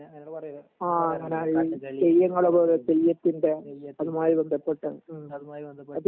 അങ്ങനെ പറയല്ലോ കഥകളി അതുമായി ബന്ധപ്പെട്ട